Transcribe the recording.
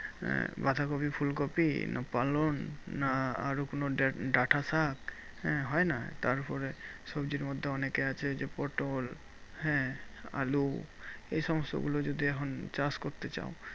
আহ বাঁধাকপি, ফুলকপি না পালং না আরো কোনো ডা~ ডাটা শাক হ্যাঁ হয় না? তারপরে সবজির মধ্যে অনেক আছে যে, পটল হ্যাঁ আলু এই সমস্তগুলো যদি এখন চাষ করতে চাও,